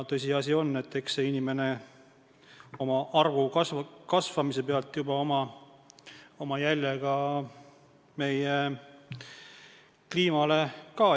Tõsiasi on, et eks inimene juba rahvaarvu kasvamise tõttu jätab oma jälje ka kliimale.